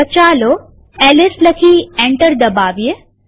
તો ચાલો એલએસ લખી એન્ટર દબાવીએ